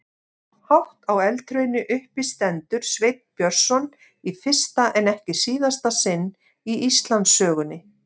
Hátt á eldhrauni uppi stendur Sveinn Björnsson í fyrsta en ekki síðasta sinn í Íslandssögunni.